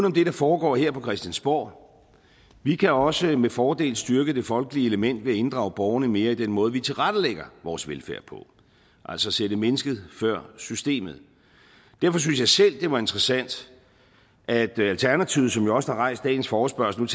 om det der foregår her på christiansborg vi kan også med fordel styrke det folkelige element ved at inddrage borgerne mere i den måde vi tilrettelægger vores velfærd på altså sætte mennesket før systemet derfor synes jeg selv det var interessant at alternativet som jo også har rejst dagens forespørgsel